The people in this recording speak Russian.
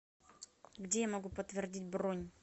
где я могу подтвердить бронь